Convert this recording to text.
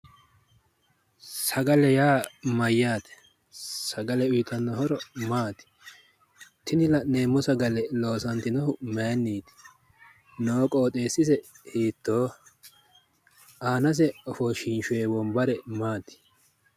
Sagale yaa mayyaate? Sagale uyitanno horo maati? Tini la'neemmo sagale loosantinohu mayinniiti? Noo qooxeessise hiittooho? Aanase ofoshshinshoye wombare maati?